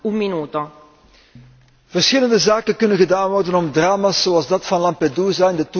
Verschillende zaken kunnen gedaan worden om drama's zoals dat van Lampedusa in de toekomst te vermijden.